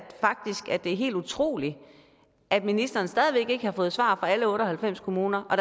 det er helt utroligt at ministeren stadig væk ikke har fået svar fra alle otte og halvfems kommuner og